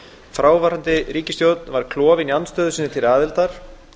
fráfarandi ríkisstjórn var klofin í afstöðu sinni til aðildar